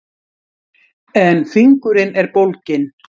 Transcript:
En fingurinn er bólginn.